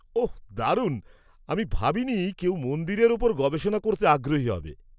-ওঃ, দারুণ! আমি ভাবিনি কেউ মন্দিরের ওপর গবেষণা করতে আগ্রহী হবে।